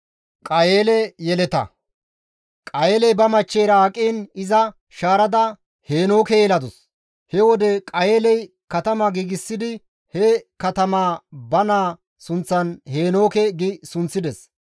Qayeeley ba machcheyra aqiin iza shaarada Heenooke yeladus; he wode Qayeeley katama giigsidi he katamaa ba naaza sunththan, «Heenooke» gi sunththides.